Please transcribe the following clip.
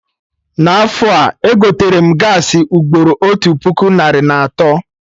Na afọ a, egoterem gaasị ugboro otu puku narị na atọ